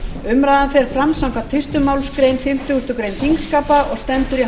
umræðan fer fram samkvæmt fyrstu málsgrein fimmtugustu grein þingskapa og stendur í hálfa klukkustund